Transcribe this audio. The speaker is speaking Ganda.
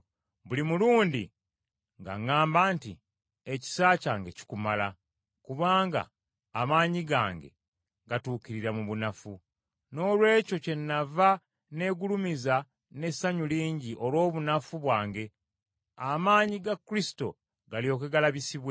Buli mulundi ng’aŋŋamba nti, “Ekisa kyange kikumala, kubanga amaanyi gange gatuukirira mu bunafu.” Noolwekyo kyennaavanga nneegulumiza n’essanyu lingi olw’obunafu bwange, amaanyi ga Kristo galyoke galabisibwe.